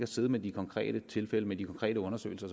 siddet med de konkrete tilfælde og med de konkrete undersøgelser